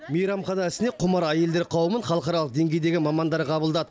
мейрамхана ісіне құмар әйелдер қауымын халықаралық деңгейдегі мамандар қабылдады